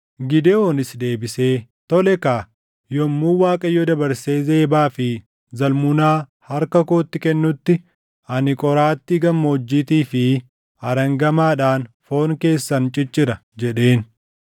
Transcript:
Gidewoonis deebisee, “Tole kaa, yommuu Waaqayyo dabarsee Zebaa fi Zalmunaa harka kootti kennutti ani qoraattii gammoojjiitii fi arangamaadhaan foon keessan ciccira” jedheen.